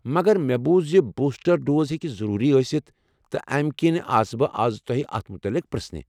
مگر مےٚ بوُز ز بوُسٹر ڈوز ہیٚکہ ضروٗری ٲستھ، تہٕ امی كِنہِ آس بہٕ آز تۄہہ اتھ متعلق پرژھنہِ۔